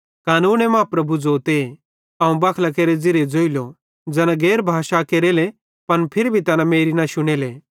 पवित्रशास्त्रे मां प्रभु ज़ोते अवं बखलां केरे ज़िरिये ज़ोइलो ज़ैना गैर भाषां केरेले पन फिरी भी तैना मेरी न शुनेले